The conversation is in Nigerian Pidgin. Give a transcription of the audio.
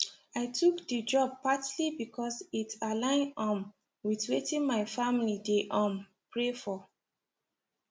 i took the job partly because it aligned um with weitin my family dey um pray for